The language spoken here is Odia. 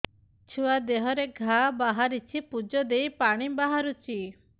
ଛୁଆ ଦେହରେ ଘା ବାହାରିଛି ପୁଜ ହେଇ ପାଣି ପରି ବାହାରୁଚି